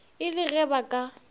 e le ge ba ka